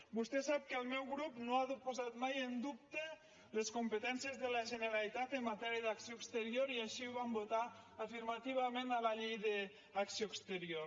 vostè sap que el meu grup no ha posat mai en dubte les competències de la generalitat en matèria d’acció exterior i així ho vam votar afirmativament a la llei d’acció exterior